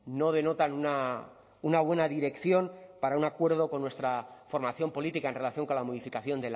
no denotan una buena dirección para un acuerdo con nuestra formación política en relación con la modificación